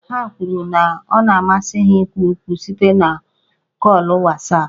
Ha kwuru na ọ na-amasị ha ikwu okwu site na kọọlụ Wasapụ